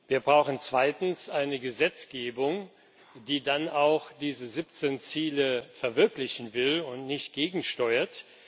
Wir brauchen zweitens eine Gesetzgebung, die diese 17 Ziele dann auch verwirklichen will und nicht gegensteuert.